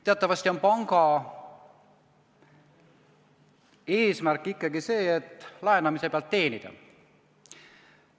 Teatavasti on panga eesmärk ikkagi laenamise pealt teenida.